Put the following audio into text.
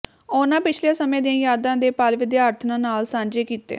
ਉਨ੍ਹਾਂ ਪਿਛਲੇ ਸਮੇਂ ਦੀਆਂ ਯਾਦਾਂ ਦੇ ਪਲ ਵਿਦਿਆਰਥਣਾਂ ਨਾਲ ਸਾਂਝੇ ਕੀਤੇ